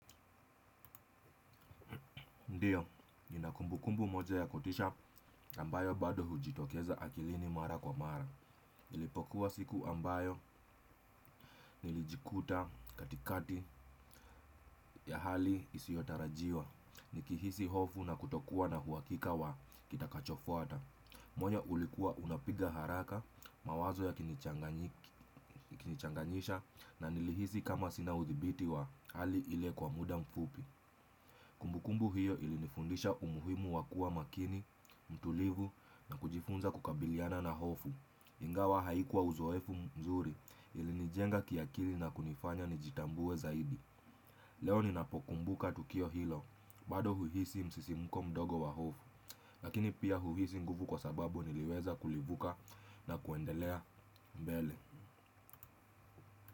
Ndiyo, nina kumbu kumbu moja ya kutisha ambayo bado hujitokeza akilini mara kwa mara. Ilipokuwa siku ambayo nilijikuta katikati ya hali isiotarajiwa. Nikihisi hofu na kutokuwa na huwakika wa kitakachofuata. Moyo ulikuwa unapiga haraka mawazo ya kinichanganyisha na nilihisi kama sina udhibiti wa hali ile kwa muda mfupi. Kumbukumbu hiyo ilinifundisha umuhimu wakuwa makini, mtulivu na kujifunza kukabiliana na hofu. Ingawa haikuwa uzoefu mzuri ili nijenga kiakili na kunifanya nijitambue zaidi. Leo ninapokumbuka tukio hilo, bado huisi msisimuko mdogo wa hofu. Lakini pia huisi nguvu kwa sababu niliweza kulivuka na kuendelea mbele.